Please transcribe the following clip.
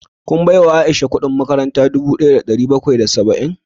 Kun baiwa Aisha kudin makaranta dubu daya da dari bakwai da saba'in?